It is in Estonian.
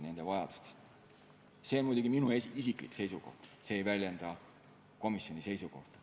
See on muidugi minu isiklik seisukoht, see ei väljenda komisjoni seisukohta.